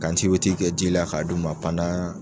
Ka kɛ ji la k'a d'u ma